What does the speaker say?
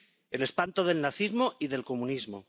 El espanto del nazismo y del comunismo.